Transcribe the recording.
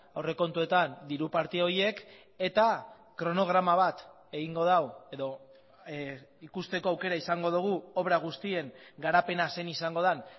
aurrekontuetan diru parte horiek eta kronograma bat egingo du edo ikusteko aukera izango dugu obra guztien garapena zein izango den